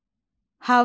Hava.